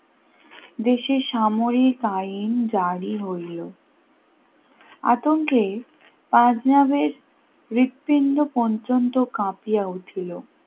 দেশের সামরিক আইন জারি হইল আতঙ্কে পাঞ্জাবের হৃৎপিণ্ড পঞ্চম তো কাঁপিয়েছিল,